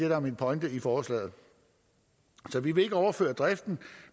der er min pointe i forslaget så vi vil ikke overføre driften